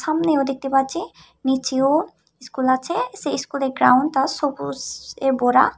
সামনেও দেখতে পাচ্ছি নিচেও স্কুল আছে সেই স্কুলের গ্রাউন্ডটা সবুজে ভরা।